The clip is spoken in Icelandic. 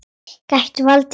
Gætu valdið skaða.